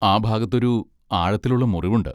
ആ ഭാഗത്തൊരു ആഴത്തിലുള്ള മുറിവുണ്ട്.